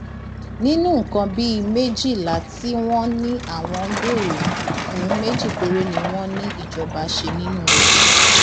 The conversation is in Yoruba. nínú nǹkan bíi méjìlá tí wọn ní àwọn ń béèrè fún méjì péré ni wọn ní ìjọba ṣe nínú rẹ